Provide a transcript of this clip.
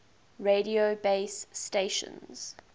radio base stations